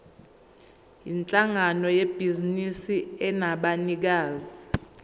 yinhlangano yebhizinisi enabanikazi